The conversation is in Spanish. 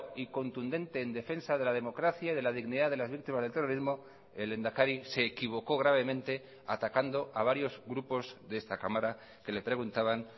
y contundente en defensa de la democracia y de la dignidad de las víctimas del terrorismo el lehendakari se equivocó gravemente atacando a varios grupos de esta cámara que le preguntaban